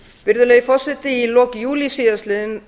virðulegi forseti í lok júlí síðastliðnum